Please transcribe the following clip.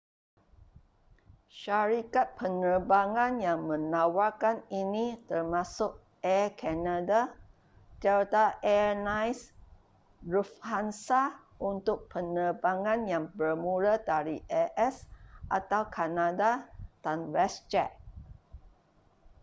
syarikat penerbangan yang menawarkan ini termasuk air canada delta air lines lufthansa untuk penerbangan yang bermula dari a.s. atau kanada dan westjet